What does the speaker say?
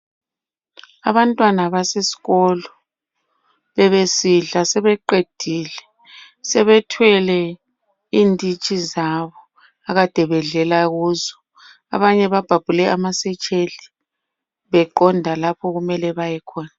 Abantwana baseskolo bebesidla sebeqedile. Sebethwele inditshi zabo akade bedlela kuzo, abanye babhabhule amasetsheli beqonda lapho okumele bayekhona.